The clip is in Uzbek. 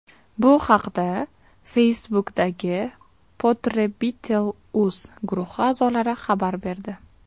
Bu haqda Facebook’dagi Potrebitel.uz guruhi a’zolari xabar berdi .